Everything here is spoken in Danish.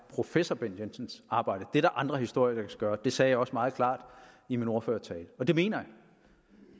professor bent jensens arbejde det er der andre historikere der kan gøre det sagde jeg også meget klart i min ordførertale og det mener